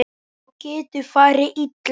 Þá getur farið illa.